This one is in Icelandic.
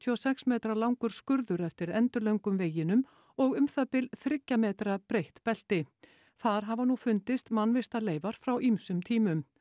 og sex metra langur skurður eftir endilöngum veginum og um það bil þriggja metra breitt belti þar hafa nú fundist mannvistarleifar frá ýmsum tímum